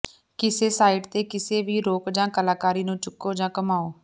ਕਿਸੇ ਸਾਈਟ ਤੇ ਕਿਸੇ ਵੀ ਰੌਕ ਜਾਂ ਕਲਾਕਾਰੀ ਨੂੰ ਚੁਕੋ ਜਾਂ ਘੁੰਮਾਓ